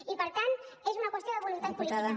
i per tant és una qüestió de voluntat política